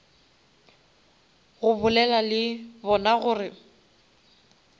go bolela le bona gore